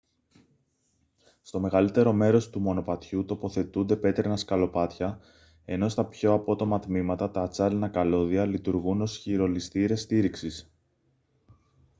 στο μεγαλύτερο μέρος του μονοπατιού τοποθετούνται πέτρινα σκαλοπάτια ενώ στα πιο απότομα τμήματα τα ατσάλινα καλώδια λειτουργούν ως χειρολισθήρες στήριξης